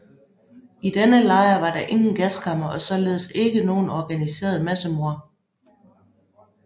I denne lejr var der ingen gaskamre og således ikke noget organiseret massemord